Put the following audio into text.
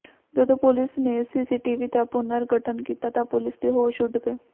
ਜਦੋਂ ਪੁਲਿਸ ਨੇ ਸੀਸੀਟੀਵੀ ਦਾ ਪੁਨਰ ਗਠਨ ਕੀਤਾ ਤਾਂ ਪੁਲਿਸ ਦੇ ਹੋਸ਼ ਉੱਡ ਗਏ